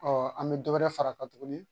an bɛ dɔ wɛrɛ far'a kan tuguni